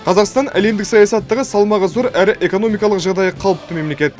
қазақстан әлемдік саясаттағы салмағы зор әрі экономикалық жағдайы қалыпты мемлекет